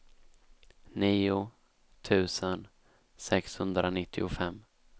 nio tusen sexhundranittiofem